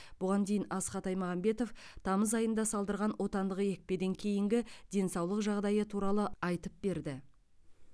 бұған дейін асхат аймағамбетов тамыз айында салдырған отандық екпеден кейінгі денсаулық жағдайы туралы айтып берді